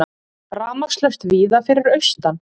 Rafmagnslaust víða fyrir austan